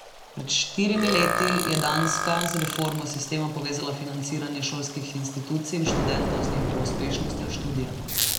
Pred štirimi leti je Danska z reformo sistema povezala financiranje šolskih institucij in študentov z njihovo uspešnostjo študija.